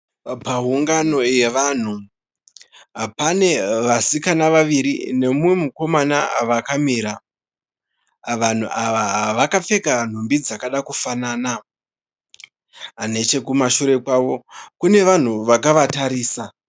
Paungano yevanhu pane vasikana vaviri nemumwe mukomana vakamira. Vanhu awa vakapfeka nhumbi dzakada kufanana. Nechekushure kwavo kune vanhu wakawatarisa